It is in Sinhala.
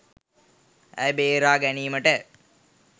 ඇය බේරා ගැනීමට